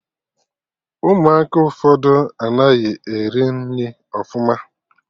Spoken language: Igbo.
Ụmụaka ụfọdụ anaghị eri nri ọfụma